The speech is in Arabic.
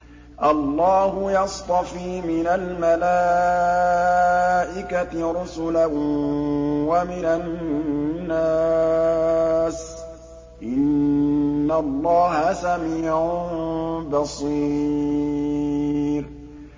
اللَّهُ يَصْطَفِي مِنَ الْمَلَائِكَةِ رُسُلًا وَمِنَ النَّاسِ ۚ إِنَّ اللَّهَ سَمِيعٌ بَصِيرٌ